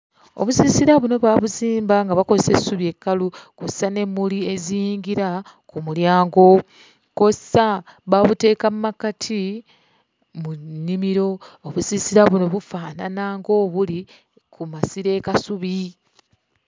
Obusiisira buno baabuzimba nga bakozesa essubi ekkalu kw'ossa n'emmuli eziyingira ku mulyango, kw'ossa baabuteeka mu makkati mu nnimiro. Obusisira buno bufaanana ng'obuli ku masiro e Kasubi.